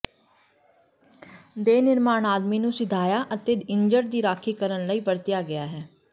ਦੇ ਨਿਰਮਾਣ ਆਦਮੀ ਨੂੰ ਸਿਧਾਇਆ ਅਤੇ ਇੱਜੜ ਦੀ ਰਾਖੀ ਕਰਨ ਲਈ ਵਰਤਿਆ ਗਿਆ ਹੈ